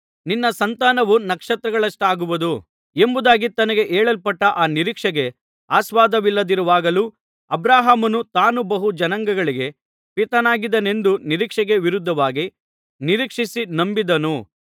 ನಿನ್ನ ಸಂತಾನವು ನಕ್ಷತ್ರಗಳಷ್ಟಾಗುವುದು ಎಂಬುದಾಗಿ ತನಗೆ ಹೇಳಲ್ಪಟ್ಟ ಆ ನಿರೀಕ್ಷೆಗೆ ಆಸ್ಪದವಿಲ್ಲದಿರುವಾಗಲೂ ಅಬ್ರಹಾಮನು ತಾನು ಬಹು ಜನಾಂಗಗಳಿಗೆ ಪಿತನಾಗುವೆನೆಂದು ನಿರೀಕ್ಷೆಗೆ ವಿರುದ್ಧವಾಗಿ ನಿರೀಕ್ಷಿಸಿ ನಂಬಿದನು